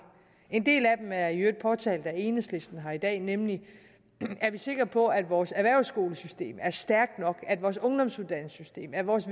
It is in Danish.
en del af dem er i øvrigt påtalt af enhedslisten her i dag nemlig er vi sikre på at vores erhvervsskolesystem er stærkt nok at vores ungdomsuddannelsessystem at vores